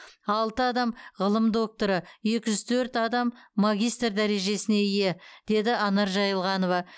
алты адам ғылым докторы екі жүз төрт адам магистр дәрежесіне ие деді анар жайылғанова